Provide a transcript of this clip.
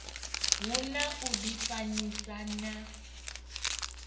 hu na u difanyisa na